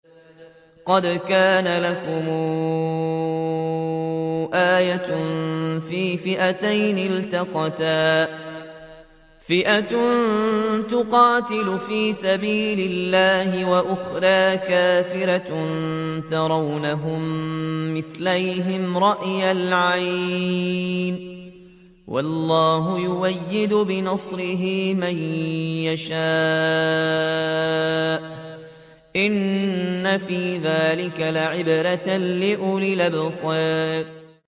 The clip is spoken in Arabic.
قَدْ كَانَ لَكُمْ آيَةٌ فِي فِئَتَيْنِ الْتَقَتَا ۖ فِئَةٌ تُقَاتِلُ فِي سَبِيلِ اللَّهِ وَأُخْرَىٰ كَافِرَةٌ يَرَوْنَهُم مِّثْلَيْهِمْ رَأْيَ الْعَيْنِ ۚ وَاللَّهُ يُؤَيِّدُ بِنَصْرِهِ مَن يَشَاءُ ۗ إِنَّ فِي ذَٰلِكَ لَعِبْرَةً لِّأُولِي الْأَبْصَارِ